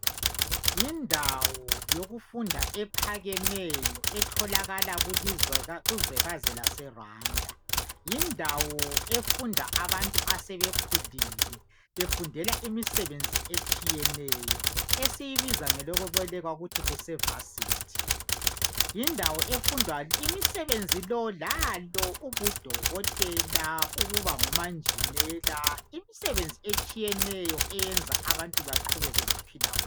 Yindawo yokufunda ephakemeyo etholakala kuzwekazi laseRwanda . Yindawo efunda abantu asebekhulile befundela imisebenzi etshiyeneyo, esiyibiza ngelokwebolekwa kuthi kuse Varsity. Yindawo efundwa imisebenzi lo lalo ubudokotela, ukuba ngomanjinela, imisebenzi etshiyeneyo eyenza abantu baqhubeke bephile kuhle.